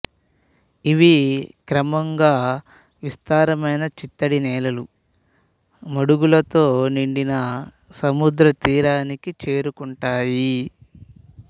ఇవి క్రమంగా విస్తారమైన చిత్తడి నేలలు మడుగులతో నిండిన సముద్రతీరానికి చేరుకుంటాయి